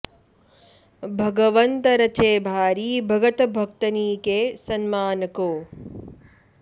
भगवंत रचे भारी भगत भक्तनि के सन्मान को